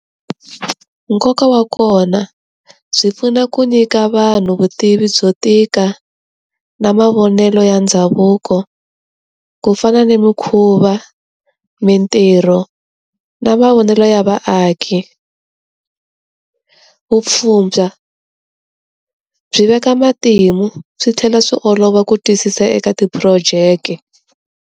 Nkoka wa kona, byi pfuna ku nyika vanhu vutivi byo tika, na mavonelo ya ndhavuko. Ku fana ni mikhuva, mintirho, na mavonelo ya vaaki. Vupfhumba byi veka matimu swi tlhela swi olova ku twisisa eka ti project.